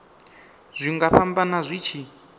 zwi nga fhambana zwi tshi